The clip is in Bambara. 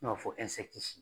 N'a fɔ